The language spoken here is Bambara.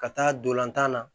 Ka taa dolantan na